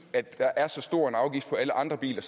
at der er så stor en afgift på alle andre biler